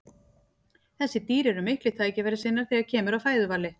þessi dýr eru miklir tækifærissinnar þegar kemur að fæðuvali